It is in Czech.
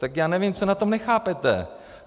Tak já nevím, co na tom nechápete.